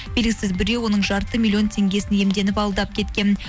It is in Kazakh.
белгісіз біреу оның жарты миллион теңгесін иемденіп алдап кеткен